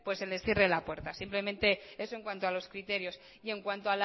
se les cierre la puerta simplemente eso en cuanto a los criterios y en cuanto